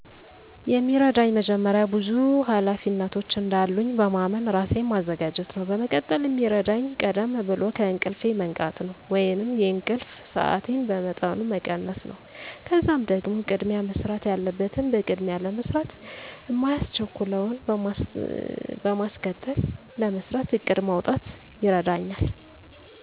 የሚረዳኝ መጀመሪያ ብዙ ሀላፊነቶች እንዳሉኝ በማመን ራሴን ማዘጋጀት ነው። በመቀጠል ሚረዳኝ ቀደም ብሎ ከእንቅልፌ መንቃት ነው ወይንም የእንቅልፍ ሰአቴን በመጠኑ መቀነስ ነው። ከዛም ደግሞ ቅድሚያ መሰራት ያለበትን በቅድሚያ ለመስራት ማያስቸኩለውን በማስከተል ለመስራት እቅድ ማውጣት ይረዳኛል።